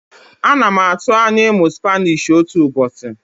Ana m atụ anya ịmụ Spanishi otu ụbọchị.